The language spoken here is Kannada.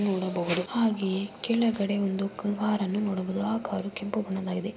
ನೋಡಬಹುದು ಹಾಗೆಯೇ ಕೆಳಗಡೆ ಒಂದು ಕಾರನ್ನು ನೋಡಬಹುದು ಆ ಕಾರು ಕೆಂಪು ಬಣ್ಣದ್ದು ಆಗಿದೆ.